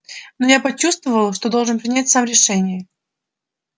но я почувствовал что должен принять решение сам